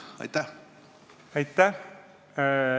Aitäh!